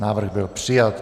Návrh byl přijat.